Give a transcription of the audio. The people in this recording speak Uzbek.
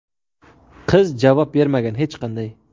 qiz javob bermagan hech qanday.